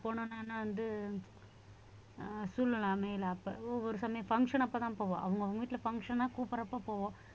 போன உடனே வந்து அஹ் சூழ்நிலை அமையல அப்ப ஒவ்வொரு சமயம் function அப்பதான் போவோம் அவங்க அவங்க வீட்டுல function ஆ கூப்பிடறப்ப போவோம்